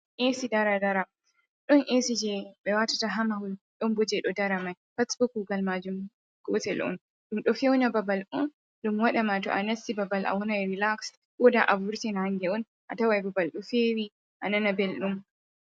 Esi dara dara. Ɗon esi je ɓe wa tata ha mahul ɗon bou je ɗo dara mai. Pat bo kugal majum gotel'un ɗum ɗo feuna babal un. Ɗum wadama to'a nasti babal a wonan relaxed koda avurti nange'un a tawai babal ɗo fewi a nana belɗum.